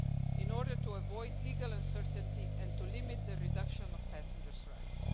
in order to avoid legal uncertainty and to limit the reduction of passenger rights.